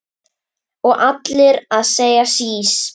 Og allir að segja sís!